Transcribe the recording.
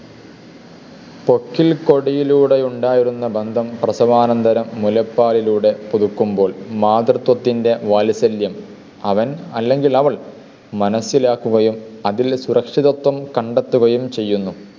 പൊക്കിൾക്കൊടിയിലൂടെയുണ്ടായിരുന്ന ബന്ധം പ്രസവാനന്തരം മുലപ്പാലിലൂടെ പുതുക്കുമ്പോൾ മാതൃത്വത്തിൻ്റെ വാത്സല്യം അവൻ അല്ലെങ്കിൽ അവൾ മനസ്സിലാക്കുകയും അതിൽ സുരക്ഷിതത്വം കണ്ടെത്തുകയും ചെയ്യുന്നു.